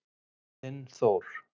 Þinn Þór.